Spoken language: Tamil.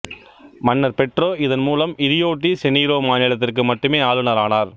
மன்னர் பெட்ரோ இதன் மூலம் இரியோ டி செனீரோ மாநிலத்திற்கு மட்டுமே ஆளுநர் ஆனார்